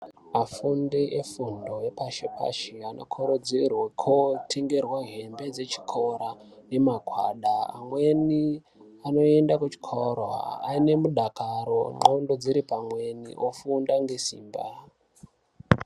Afundi efundo yepashi pashi anokurudzirwe kutonherwa hembe dzechikora nemagwada amweni anoenda kuchikoro aine mudakaro ndxondo dziri pamweni ofunda ngesimba.